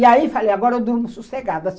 E aí falei, agora eu durmo sossegada.